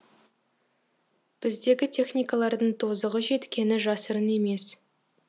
біздегі техникалардың тозығы жеткені жасырын емес